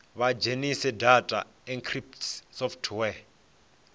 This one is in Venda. vha dzhenise data encryption software